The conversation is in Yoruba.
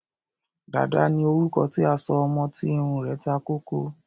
Dàda ni orúkọ tí a sọ ọmọ tí irun rẹ̀ ta kókó.